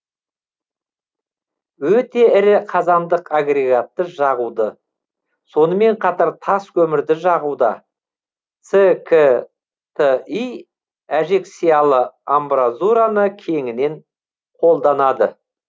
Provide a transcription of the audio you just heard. өте ірі қазандық агрегатты жағуды сонымен қатар тас көмірді жағуда цкти әжекциялы амбразураны кеңінен қолданады